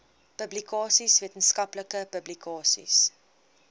publikasies wetenskaplike publikasies